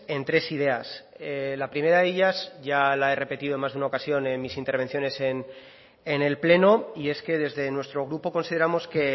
en tres ideas la primera de ellas ya la he repetido más de una ocasión en mis intervenciones en el pleno y es que desde nuestro grupo consideramos que